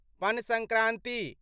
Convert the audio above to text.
पन संक्रांति